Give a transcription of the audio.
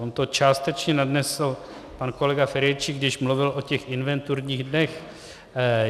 On to částečně nadnesl pan kolega Ferjenčík, když mluvil o těch inventurních dnech.